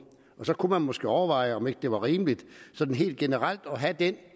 så kunne man måske overveje om ikke det var rimeligt sådan helt generelt at have det